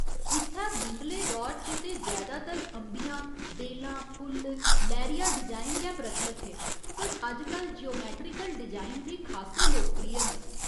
इत्थै मुंढले दौर च ते जैदातर अंबियां, बेलां फुल्ल, लैह्‌रिया डिजाइन गै प्रचलत हे पर अजकल ज्योमैट्रीकल डिजाइन बी खासे लोकप्रिय न।